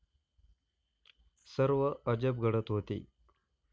सर्व अजब घडत होते.